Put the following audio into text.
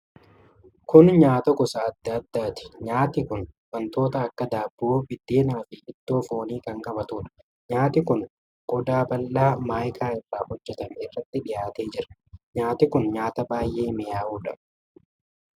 Kun nyaata gosa adda addaati. Nyaati kun wanttoota akka daabboo, biddeena fi ittoo foonii kan qabatuudha. Nyaati kun qodaa bal'aa maayikaa irraa hojjatame irratti dhiyaatee jira. Nyaati kun nyaata baay'ee mi'aayudha.